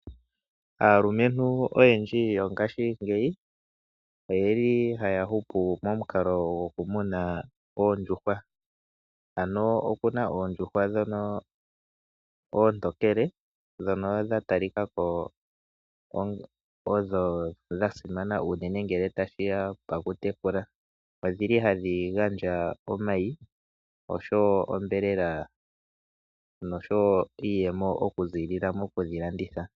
Aalumentu oyendji yongaashingeyi oyeli haya hupu momukalo goku muna oondjuhwa. Aano okuna oondjuhwa ndhono oontokele ndhono dha talikako odho dha simana uunene ngele tashi ya pakutekula, odhili hadhi gandja omayi, osho wo onyama nosho wo iiyemo oku ziilila mokudhiladhitha .